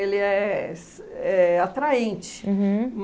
é se éh atraente. Uhum.